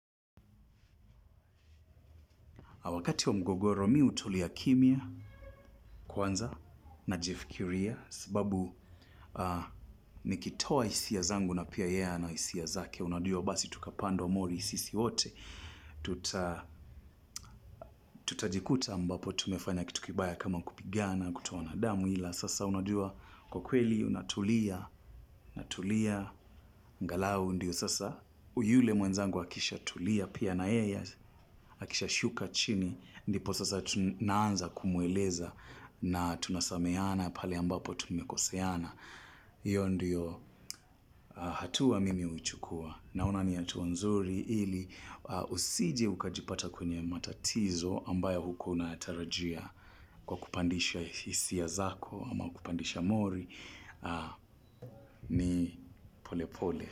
Wakati wa mgogoro mi hutulia kimya kwanza najifikiria. Sababu nikitoa hisia zangu na pia yeye ana hisia zake. Unajua basi tukapandwa mori sisi wote tuta tutajikuta ambapo tumefanya kitu kibaya kama kupigana kutoana damu ila sasa unajua kwa kweli unatulia, unatulia, angalau ndiyo sasa yule mwenzangu akishatulia pia na yeye, akishashuka chini. Ndipo sasa naanza kumueleza na tunasameheana pale ambapo tumekoseana. Iyo ndiyo hatua mimi huchukua. Naona ni hatua nzuri ili usiji ukajipata kwenye matatizo ambayo hukuwa unatarajia kwa kupandisha hisia zako ama kupandisha mori ni pole pole.